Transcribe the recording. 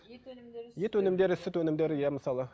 ет өнімдері сүт өнімдері иә мысалы